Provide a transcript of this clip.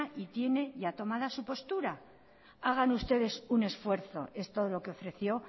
y tiene ya tomada su postura hagan ustedes un esfuerzo es todo lo que ofreció